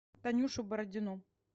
танюшу бородину